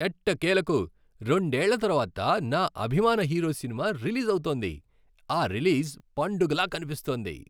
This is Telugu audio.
ఎట్టకేలకు రెండేళ్ళ తర్వాత నా అభిమాన హీరో సినిమా రిలీజ్ అవుతోంది, ఆ రిలీజ్ పండుగలా కనిపిస్తోంది.